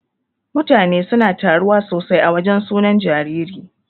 Mutane suna taruwa sosai a wajan sunan jariri.